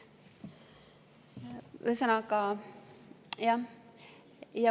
Ühesõnaga, jah.